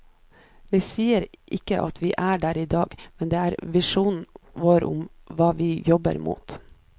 Vi sier ikke at vi er der i dag, men det er visjonen vår og hva vi jobber mot.